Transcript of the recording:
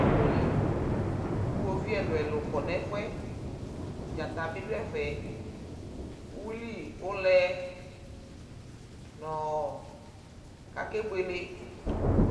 Ɔkʋli kʋ iɣoviu ɛlʋ-ɛlʋ kɔ nʋ ɛfʋ yɛ Dzata bɩ dʋ ɛfɛ, uyuili ʋlɛ nʋ ɔ kakebuele